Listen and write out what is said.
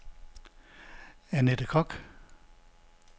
Annette Kock